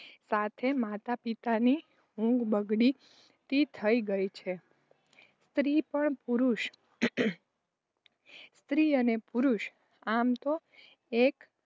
અને સાથે માતાપિતાની ઉંઘ બગડતી ગઈ. સ્ત્રી પણ પુરુષ સ્ત્રી અને પુરુષ આમ તો એક